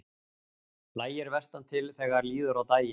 Lægir vestantil þegar líður á daginn